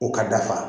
O ka dafa